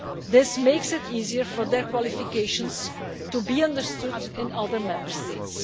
This makes it easier for their qualifications to be understood in other Member States.